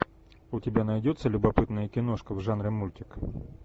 у тебя найдется любопытная киношка в жанре мультик